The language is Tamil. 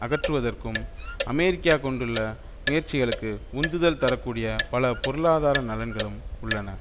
அகற்றுவதற்கும் அமெரிக்கா கொண்டுள்ள முயற்சிகளுக்கு உந்துதல் தர கூடிய பல பொருளாதார நலன்களும் உள்ளன